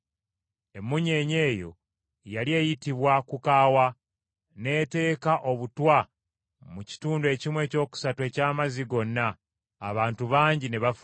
Emmunyeenye eyo yali eyitibwa “Kukaawa” n’etteeka obutwa mu kitundu ekimu ekyokusatu eky’amazzi gonna, abantu bangi ne bafa.